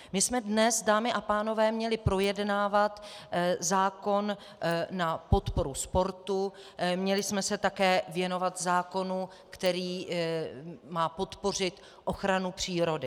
My jsme dnes, dámy a pánové, měli projednávat zákon na podporu sportu, měli jsme se také věnovat zákonu, který má podpořit ochranu přírody.